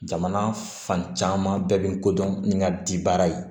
Jamana fan caman bɛɛ bɛ n kodɔn ni n ka di baara ye